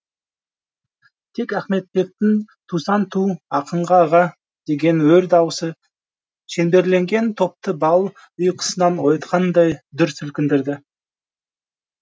тек ахметбектің тусаң ту ақын аға деген өр даусы шеңберленген топты бал ұйқысынан оятқандай дүр сілкіндірді